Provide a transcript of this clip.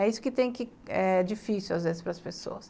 É isso que tem que é difícil às vezes para as pessoas.